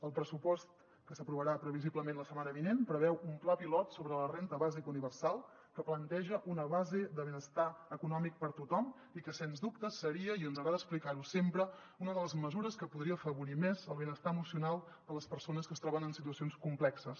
el pressupost que s’aprovarà previsiblement la setmana vinent preveu un pla pilot sobre la renda bàsica universal que planteja una base de benestar econòmic per a tothom i que sens dubte seria i ens agrada explicar ho sempre una de les mesures que podria afavorir més el benestar emocional de les persones que es troben en situacions complexes